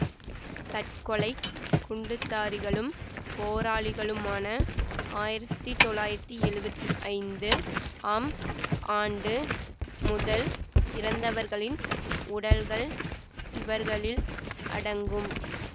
தற்கொலை குண்டுதாரிகளும் போராளிகளுமாக ஆயிரத்தி தொள்ளாயிரத்தி எழுவத்தி ஐந்து ஆம் ஆண்டு முதல் இறந்தவர்களின் உடல்கள் இவர்களில் அடங்கும்